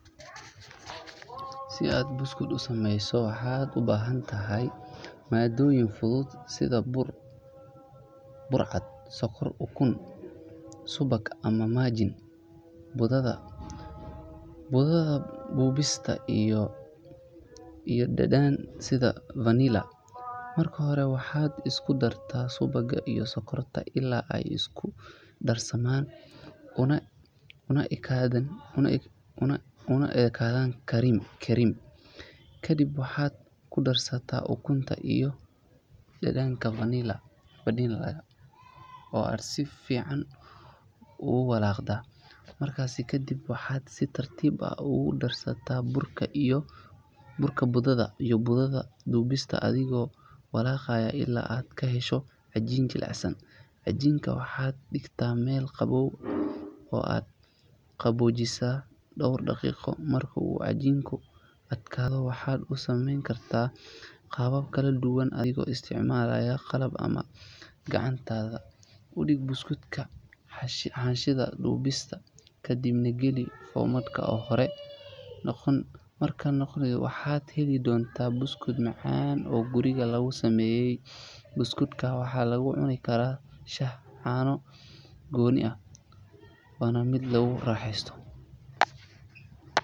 Si aad buskud u sameyso waxaad u baahan tahay maaddooyin fudud sida bur cad, sonkor, ukun, subag ama margarine, budada dubista iyo dhadhan sida vanilla. Marka hore waxaad isku dartaa subagga iyo sonkorta ilaa ay isku darsamaan una ekaadaan kareem. Kadib waxaad ku darsataa ukunta iyo dhadhanka vanilla-ga oo aad si fiican u walaaqdaa. Markaasi kadib waxaad si tartiib ah ugu darsataa burka iyo budada dubista adigoo walaaqaya ilaa aad ka hesho cajiin jilicsan. Cajiinka waxaad dhigtaa meel qaboow oo aad qaboojisaa dhowr daqiiqo. Marka uu cajiinku adkaado waxaad u samayn kartaa qaabab kala duwan adigoo isticmaalaya qalab ama gacantaada. U dhig buskudka xaashida dubista kadibna geli foornada oo horey loo kululeeyay heer kul dhexdhexaad ah, kuna daa ilaa ay ka noqdaan dahabi. Markay qaboojaan waxaad heli doontaa buskud macaan oo guriga lagu sameeyay. Buskudka waxaa lagu cuni karaa shaah, caano ama si gooni ah. Waa fudud yahay waana mid lagu raaxaysto.